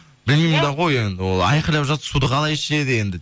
білмеймін да ғой енді ол айқалап жатыр суды қалай ішеді енді